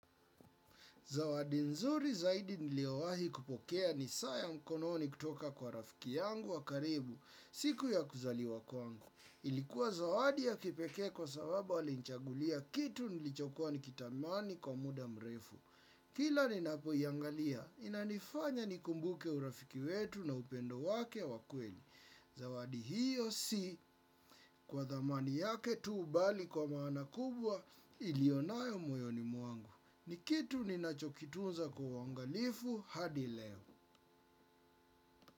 Zawadi nzuri zaidi niliowahi kupokea ni saa ya mkononi kutoka kwa rafiki yangu wa karibu, siku ya kuzaliwa kwangu. Ilikuwa zawadi ya kipekee kwa sababu alinichagulia kitu nilichokuwa nikitamani kwa muda mrefu. Kila ninapoiangalia, inanifanya nikumbuke urafiki wetu na upendo wake wa kweli. Zawadi hiyo si kwa dhamani yake tu bali kwa maana kubwa ilionayo moyoni mwangu. Ni kitu ninachokitunza kwa uangalifu hadi leo.